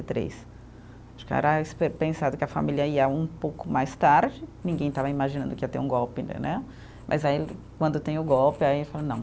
e três. Acho que era espe, pensado que a família ia um pouco mais tarde, ninguém estava imaginando que ia ter um golpe entendeu, mas aí quando tem o golpe, aí fala não.